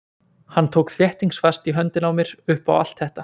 Hann tók þéttingsfast í höndina á mér upp á allt þetta.